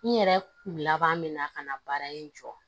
N yɛrɛ kun laban me na ka na baara in jɔ